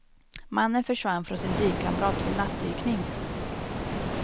Mannen försvann från sin dykkamrat vid nattdykning.